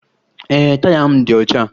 Ee, taya m dị ọcha